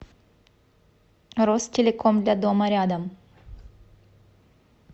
ростелеком для дома рядом